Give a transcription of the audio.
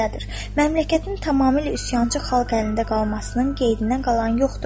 Məmləkətin tamamilə üsyançı xalq əlində qalmasının qeydinə qalan yoxdur.